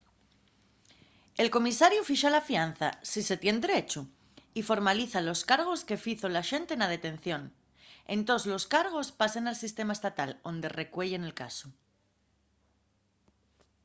el comisariu fixa la fianza si se tien derechu y formaliza los cargos que fizo l'axente na detención entós los cargos pasen al sistema estatal onde recueyen el casu